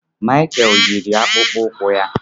Michael yiri akpụkpọ ụkwụ ya.